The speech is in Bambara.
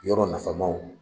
Yɔrɔ nafamaw